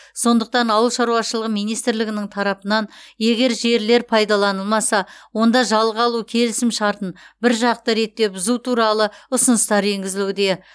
сондықтан ауыл шаруашылығы министрлігінің тарапынан егер жерлер пайдаланылмаса онда жалға алу келісімшартын біржақты ретте бұзу туралы ұсыныстар енгізілуде